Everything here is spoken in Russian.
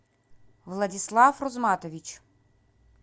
владислав рузматович